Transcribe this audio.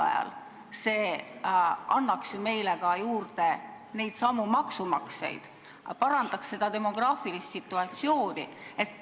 Samal ajal annaks see meile maksumaksjaid juurde ja parandaks demograafilist situatsiooni.